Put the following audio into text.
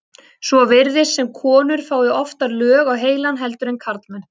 Svo virðist sem konur fái oftar lög á heilann heldur en karlmenn.